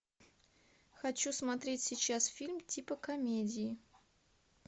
хочу смотреть сейчас фильм типа комедии